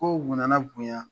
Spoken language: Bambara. Kow nana bonya